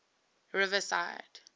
riverside